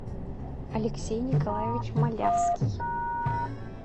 алексей николаевич малявский